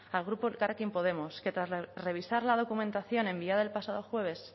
al grupo elkarrekin podemos que tras revisar la documentación enviada el pasado jueves